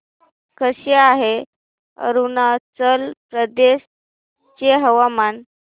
कसे आहे अरुणाचल प्रदेश चे हवामान